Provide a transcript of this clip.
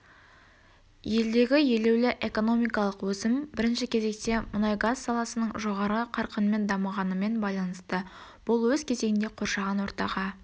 елдегі елеулі экономикалық өсім бірінші кезекте мұнайгаз саласының жоғары қарқынмен дамығанымен байланысты бұл өз кезегінде қоршаған ортаға